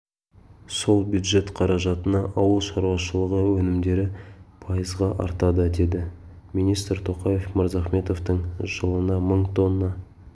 сол бюджет қаражатына ауыл шаруашылғы өнімдері пайызға артады деді министр тоқаев мырзахметовтің жылына мың тонна